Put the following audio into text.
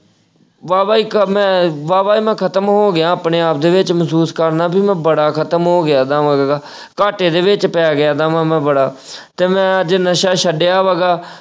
ਵਾਹਵਾ ਕ ਅਹ ਮੈਂ ਵਾਹਵਾ ਹੀ ਮੈਂ ਖ਼ਤਮ ਹੋ ਗਿਆ ਆਪਣੇ ਆਪ ਦੇ ਵਿੱਚ ਮਹਿਸੂਸ ਕਰਦਾ ਕਿ ਮੈਂ ਬੜਾ ਖ਼ਤਮ ਹੋ ਗਿਆ ਐਦਾ ਮਤਲਬ ਘਾਟੇ ਦੇ ਵਿੱਚ ਪੈ ਗਿਆ ਇਹ ਤਾਂ ਮੈਂ ਬੜਾ, ਤੇ ਮੈਂ ਅੱਜ ਨਸ਼ਾ ਛੱਡਿਆ ਵਾ ਗਾ।